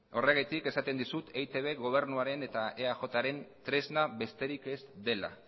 horregatik esaten dizut eitb gobernuaren eta eajren tresna besterik ez dela